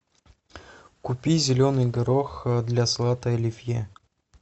купи зеленый горох для салата оливье